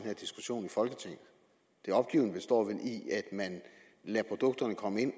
her diskussion i folketinget det opgivende består vel i at man lader produkterne komme ind